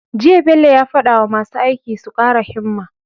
Jiya Bello ya fada wa masu aiki su kara himma